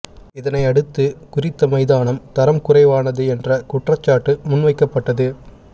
இதனை அடுத்து குறித்த மைதானம் தரம் குறைவானது என்ற குற்றச்சாட்டு முன்வைக்கப்பட்டது